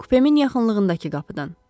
Kupemin yaxınlığındakı qapıdan.